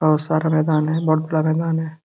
बहुत सारा मैदान है बहुत बड़ा मैदान है।